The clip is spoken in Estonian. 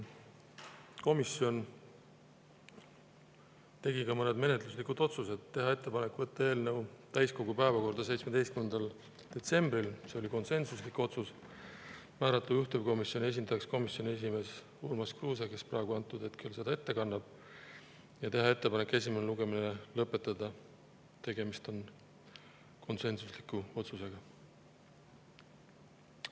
Komisjon tegi ka mõned menetluslikud otsused: teha ettepanek võtta eelnõu täiskogu päevakorda 17. detsembril, see oli konsensuslik otsus; määrata juhtivkomisjoni esindajaks komisjoni esimees Urmas Kruuse, kes praegu ettekannet teeb; teha ettepanek esimene lugemine lõpetada, tegemist on konsensusliku otsusega.